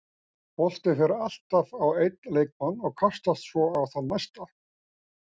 Boltinn fer alltaf á einn leikmann og kastast svo á þann næsta.